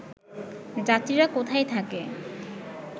যাত্রীরা কোথায় থাকে